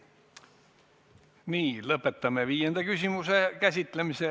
Lõpetame viienda küsimuse käsitlemise.